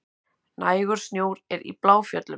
Nægur snjór er í Bláfjöllum